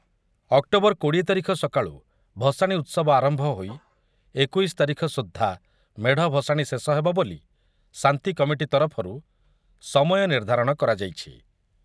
October କୋଡିଏ ତାରିଖ ସକାଳୁ ଭସାଣି ଉତ୍ସବ ଆରମ୍ଭ ହୋଇ ଏକୋଇଶି ତାରିଖସୁଦ୍ଧା ମେଢ଼ ଭସାଣି ଶେଷ ହେବ ବୋଲି ଶାନ୍ତି କମିଟି ତରଫରୁ ସମୟ ନିର୍ଦ୍ଧାରଣ କରାଯାଇଛି ।